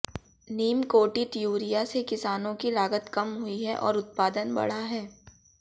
नीम कोटित यूरिया से किसानों की लागत कम हुई है और उत्पादन बढ़ा है